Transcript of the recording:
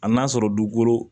A n'a sɔrɔ dukolo